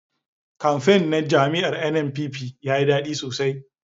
Kamfen na jam'iyar NNPP yayi dadi sosai